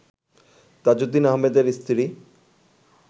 তাজউদ্দিন আহমেদের স্ত্রী